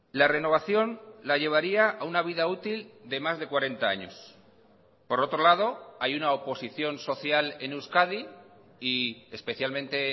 la renovación la llevaría a una vida útil de más de cuarenta años por otro lado hay una oposición social en euskadi y especialmente